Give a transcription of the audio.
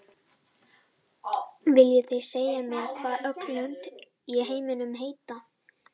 Viljið þið segja mér hvað öll lönd í heiminum heita?